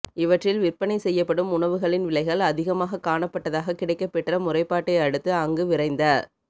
இவற்றில் விற்பனை செய்யப்படும் உணவுகளின் விலைகள் அதிகமாகக் காணப்பட்டதாக கிடைக்கப்பெற்ற முறைப்பாட்டை அடுத்து அங்கு விரைந்த